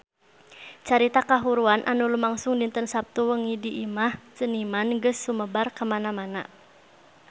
Carita kahuruan anu lumangsung dinten Saptu wengi di Imah Seniman geus sumebar kamana-mana